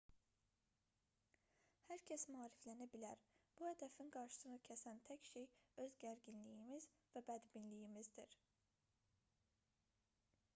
hər kəs maariflənə bilər bu hədəfin qarşısını kəsən tək şey öz gərginliyimiz və bədbinliyimizdir